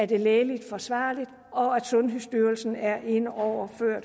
det er lægeligt forsvarligt og at sundhedsstyrelsen er inde over før